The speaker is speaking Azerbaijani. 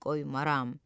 Qoymaram.